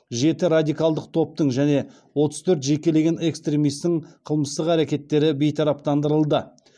жеті радикалдық топтың және отыз төрт жекелеген экстремистің қылмыстық әрекеттері бейтараптандырылды